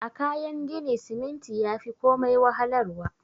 A Kayan gini siminti yafi komai wahalar wa.